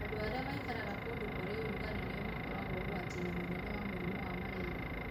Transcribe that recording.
Andũ arĩa maikaraga kũndũ kũrĩ ũrugarĩ nĩo makoragwo ũgwati-inĩ mũnene wa mũrimũ wa malaria.